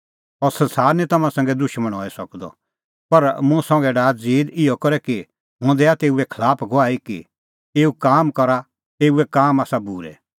अह संसार निं तम्हां संघै दुशमण हई सकदअ पर मुंह संघै डाहा ज़ीद इहअ करै कि हुंह दैआ तेऊए खलाफ गवाही कि एऊए काम आसा बूरै